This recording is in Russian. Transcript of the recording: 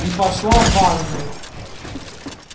и пошла в ванную